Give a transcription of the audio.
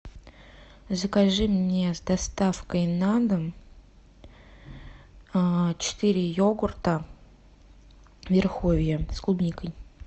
закажи мне с доставкой на дом четыре йогурта верховье с клубникой